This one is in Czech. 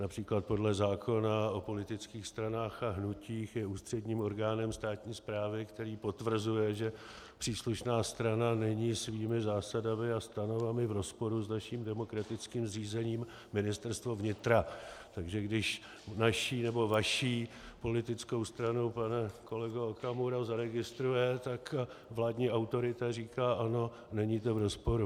Například podle zákona o politických stranách a hnutích je ústředním orgánem státní správy, který potvrzuje, že příslušná strana není svými zásadami a stanovami v rozporu s naším demokratickým zřízením, Ministerstvo vnitra, takže když naši nebo vaši politickou stranu, pane kolego Okamuro, zaregistruje, tak vládní autorita říká: Ano, není to v rozporu.